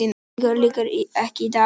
Talningu lýkur ekki í dag